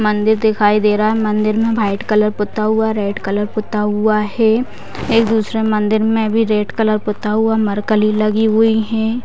मंदिर दिखाई दे रहा है मंदिर में वाइट कलर पोता हुआ है रेड कलर पोता हुआ है एक दुसरे मंदिर में भी रेड कलर पोता हुआ है मरकली लगी हुई है।